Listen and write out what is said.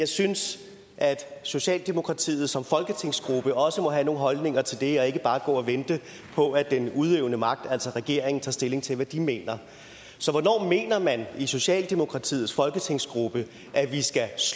synes at socialdemokratiet som folketingsgruppe også må have nogle holdninger til det og ikke bare gå og vente på at den udøvende magt altså regeringen tager stilling til hvad den mener hvornår mener man i socialdemokratiets folketingsgruppe at vi skal